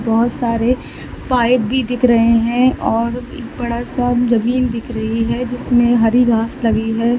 बहोत सारे पाइप भी दिख रहे हैं और बड़ा सा जमीन दिख रही है जिसमें हरी घास लगी है।